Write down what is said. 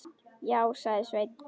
Já, sagði Sveinn.